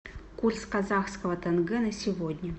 курс казахского тенге на сегодня